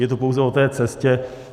Je to pouze o té cestě.